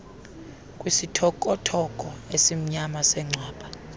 kwisithokothoko esimnyama sengcwaba